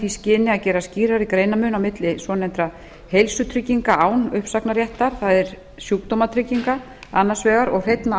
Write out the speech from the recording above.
skyni að gera skýrari greinarmun á milli svonefndra heilsutrygginga án uppsagnarréttar það er sjúkdómatrygginga annars vegar og hreinna